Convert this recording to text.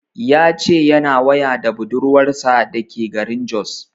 Ya ce yana waya da budurwar sa da ke garin Jos